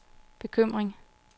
bekymring